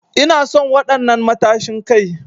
Ina son wadan'nan matashin Kai.